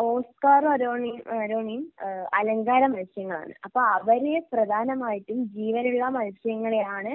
ഓസ്കാറും അരോണിയും ഏഹ് അരോണയും ഏഹ് അലങ്കാരമത്സ്യങ്ങളാണ് അപ്പോ അവര് പ്രധാനമായിട്ടും ജീവനുള്ള മത്സ്യങ്ങളെയാണ്